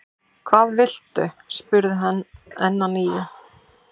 Hvað viltu? spurði hann enn að nýju.